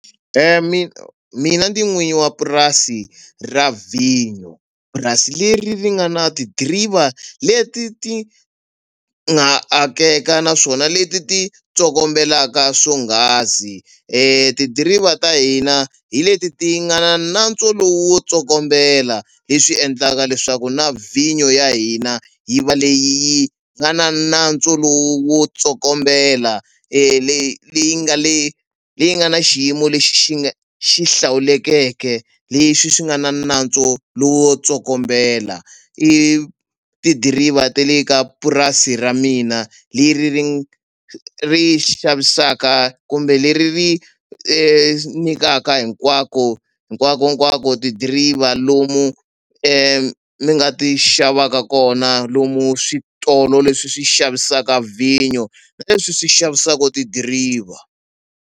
mina n'wini wa purasi ra vhinyo purasi leri ri nga na tidiriva leti ti nga akeka naswona leti ti tsokombelaka swonghasi tidiriva ta hina hi leti ti nga na nantswo lowu wo tsokombela leswi endlaka leswaku na vhinyo ya hina yi va leyi yi nga na nantswo lowu wo tsokombela leyi leyi nga le leyi nga na xiyimo lexi xi nga xi hlawulekeke leswi swi nga na nantswo lowo tsokombela i tidiriva te le ka purasi ra mina leri ri xavisaka kumbe leri ri nikaka hinkwako hinkwakonkwako tidiriva lomu mi nga ti xavaka kona lomu switolo leswi swi xavisaka vhinyo na leswi swi xavisaka tidiriva.